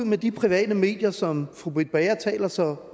med de private medier som fru britt bager taler så